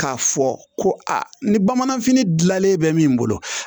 K'a fɔ ko a ni bamananfini dilanlen bɛ min bolo